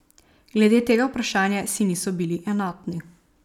Glede tega vprašanja si niso bili enotni.